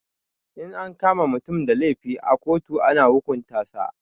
In an kama mutum da laifi a ƙotu ana hukunta sa